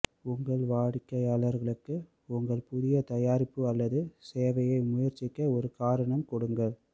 உங்கள் வாடிக்கையாளர்களுக்கு உங்கள் புதிய தயாரிப்பு அல்லது சேவையை முயற்சிக்க ஒரு காரணம் கொடுங்கள்